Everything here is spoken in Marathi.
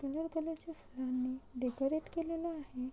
कलर कलर च्या फुलांनी डेकोरेट केलेल आहे.